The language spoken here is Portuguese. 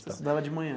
Você estudava de manhã?